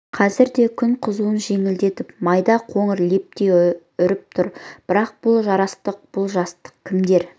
қазірде де күн қызуын жеңілдетіп майда қоңыр лептей үріп тұр бірақ бұл жарастық бұл жастық кімдер